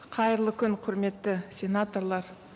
қайырлы күн құрметті сенаторлар